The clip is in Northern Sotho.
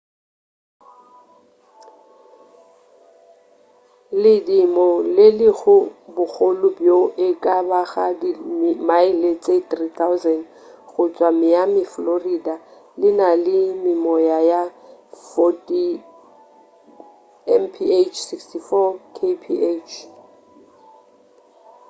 ledimo le lego bokgole bjo e ka bago di mile tše 3000 go tšwa miami florida le na le memoya ya 40 mph 64 kph